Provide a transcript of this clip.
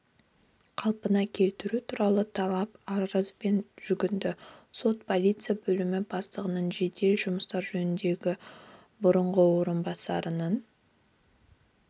қалпына келтіру туралы талап арызбен жүгінді сот полиция бөлімі бастығының жедел жұмыстар жөніндегі бұрынғы орынбасарының